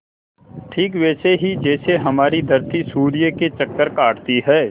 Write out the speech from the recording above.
ठीक वैसे ही जैसे हमारी धरती सूर्य के चक्कर काटती है